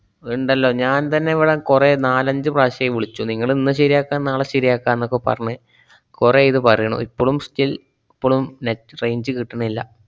ണ്ടല്ലോ ഞാന്‍ തന്നെ ഇവിടെ കുറെ നാലഞ്ച് പ്രാശ്യായി വിളിച്ചു. നിങ്ങള്‍ ഇന്ന് ശരിയാക്കാം നാളെ ശരിയാക്കാം എന്നൊക്കെ പറഞ്ഞ് കൊറേയി ഇത് പറയണു ഇപ്പളും still പ്പളും net range കിട്ടണില്ല.